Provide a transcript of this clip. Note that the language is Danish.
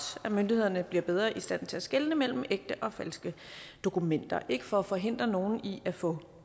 at myndighederne bliver bedre i stand til at skelne mellem ægte og falske dokumenter det ikke for at forhindre nogen i at få